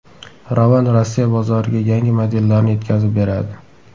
Ravon Rossiya bozoriga yangi modellarni yetkazib beradi.